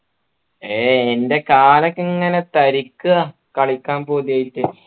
ഏയ് ൻ്റെ കാലൊക്കെ ഇങ്ങനെ തരിക്കിണ് കളിക്കാൻ പൂതിയായിട്ട്